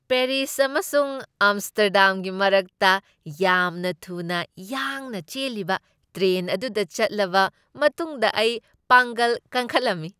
Paris ꯑꯃꯁꯨꯡ ꯑꯝꯁ꯭ꯇꯔꯗꯥꯝꯒꯤ ꯃꯔꯛꯇ ꯌꯥꯝꯅ ꯊꯨꯅ ꯌꯥꯡꯅ ꯆꯦꯜꯂꯤꯕ ꯇ꯭ꯔꯦꯟ ꯑꯗꯨꯗ ꯆꯠꯂꯕ ꯃꯇꯨꯡꯗ ꯑꯩ ꯄꯥꯡꯒꯜ ꯀꯟꯈꯠꯂꯝꯃꯤ꯫